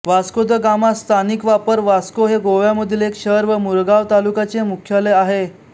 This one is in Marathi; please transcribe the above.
वास्को द गामा स्थानिक वापर वास्को हे गोव्यामधील एक शहर व मुरगांव तालुक्याचे मुख्यालय आहे